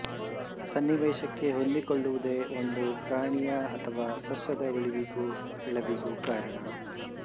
ಸನ್ನಿವೇಶಕ್ಕೆ ಹೊಂದಿಕೊಳ್ಳುವುದೇ ಒಂದು ಪ್ರಾಣಿಯ ಅಥವಾ ಸಸ್ಯದ ಉಳಿವಿಗೂ ಬೆಳೆವಿಗೂ ಕಾರಣ